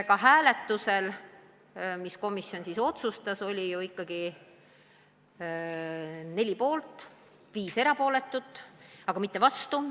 Otsuste hääletusel oli neli inimest poolt ja viis erapooletut, mitte vastu.